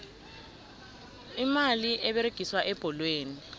imali eberegiswa ebholweni